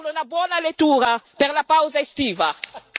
Ecco, non mi resta che augurarle una buona lettura per la pausa estiva.